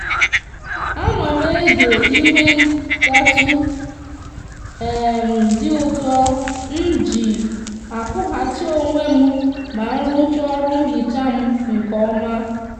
a no m eghe ihe ntatu um di uto mji akwughachi onwe m ma nrucha oru nhicha m nke oma